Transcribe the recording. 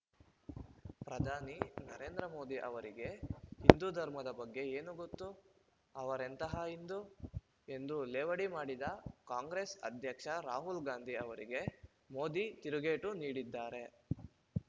ಪ್ರಧಾನಿ ನರೇಂದ್ರ ಮೋದಿ ಅವರಿಗೆ ಹಿಂದು ಧರ್ಮದ ಬಗ್ಗೆ ಏನು ಗೊತ್ತು ಅವರೆಂತಹ ಹಿಂದು ಎಂದು ಲೇವಡಿ ಮಾಡಿದ್ದ ಕಾಂಗ್ರೆಸ್‌ ಅಧ್ಯಕ್ಷ ರಾಹುಲ್‌ ಗಾಂಧಿ ಅವರಿಗೆ ಮೋದಿ ತಿರುಗೇಟು ನೀಡಿದ್ದಾರೆ